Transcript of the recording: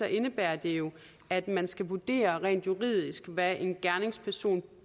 indebærer det jo at man skal vurdere rent juridisk hvad en gerningsperson